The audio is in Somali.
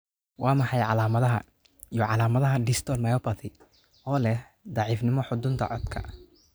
Waa maxay calaamadaha iyo calaamadaha Distal myopathy oo leh daciifnimo xudunta codka?